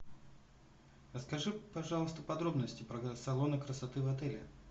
расскажи пожалуйста подробности про салоны красоты в отеле